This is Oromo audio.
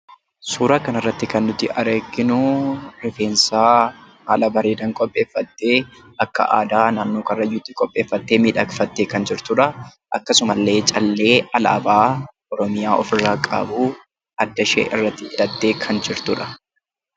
Suuraa kanarratti kan arginu rifeensa haala bareedaadhaan qopheeffattee akka aadaa naannoo Karrayyuutti miidhagfattee qopheeffattee kan jirtudha. Akkasumallee callee alaabaa Oromiyaa qaby adda ishee irratti hidhattee kan jirtudha.